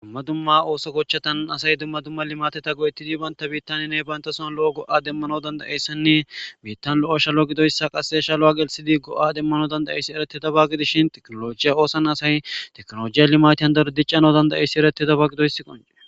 dumma dumma ooso gochchatan asay dumma dumma limateta go7ettidi baynta biittaniyane bayntasoon lo7o go7a demmano dandayeyssanne biittan lo7o shalo gidoyssa qasse shalo7a gelsidi go7a demmano dandayeyssi ereti daba gidishin teknolojiya oosan asay teknolojiya limatiyan dardicano dandayeyssi ereti daba gidoyssi qone